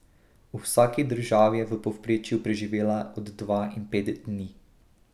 V vsaki državi je v povprečju preživela od dva in pet dni.